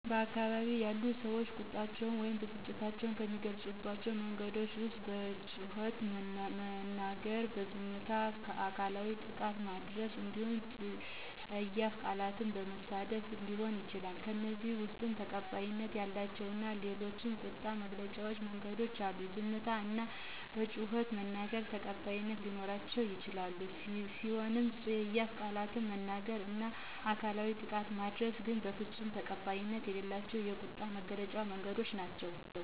በአካባቢያችን ያሉ ሰዎች ቁጣቸውን ወይም ብስጭታቸውን ከሚገልፁባቸው መንገዶች ዉስጥ በጩኸት በመናገር፣ በዝምታ፣ አካላዊ ጥቃት በማድረስ እንዲሁም ፀያፍ ቃላትን በመሳደብ ሊሆን ይችላል። ከእነዚህም ውስጥ ተቀባይነት ያላቸው እና የሌላቸው ቁጣን መግለጫ መንገዶች አሉ፤ ዝምታ እና በጩኸት መናገር ተቀባይት ሊኖራቸው የሚችሉ ሲሆኑ ፀያፍ ቃላትን መናገር እና አካላዊ ጥቃት ማድረስ ግን በፍፁም ተቀባይነት የሌላቸው ቁጣን የመግለጫ መንገዶች ናቸው።